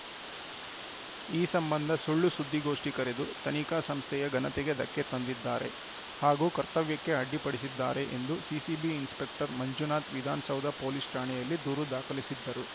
ಈ ಸಂಬಂಧ ಸುಳ್ಳು ಸುದ್ದಿಗೋಷ್ಠಿ ಕರೆದು ತನಿಖಾ ಸಂಸ್ಥೆಯ ಘನತೆಗೆ ಧಕ್ಕೆ ತಂದಿದ್ದಾರೆ ಹಾಗೂ ಕರ್ತವ್ಯಕ್ಕೆ ಅಡ್ಡಿಪಡಿಸಿದ್ದಾರೆ ಎಂದು CCB inspector Manjunath Vidhana Soudha police ಠಾಣೆಯಲ್ಲಿ ದೂರು ದಾಖಲಿಸಿದ್ದರು